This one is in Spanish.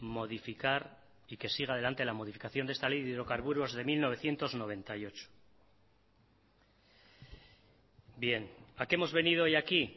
modificar y que siga adelante la modificación de esta ley de hidrocarburos de mil novecientos noventa y ocho bien a qué hemos venido hoy aquí